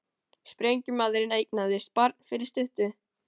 Sprengjumaðurinn eignaðist barn fyrir stuttu